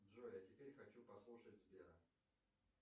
джой а теперь хочу послушать сбера